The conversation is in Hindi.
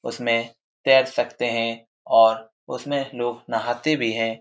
उसमे तेर सकते हैं और उसमें लोग नाहाते भी हैं।